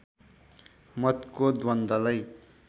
मतको द्वन्द्वलाई